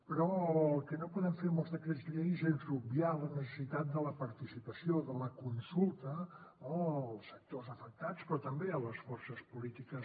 però el que no podem fer amb els decrets llei és obviar la necessitat de la participació de la consulta no als sectors afectats però també a les forces polítiques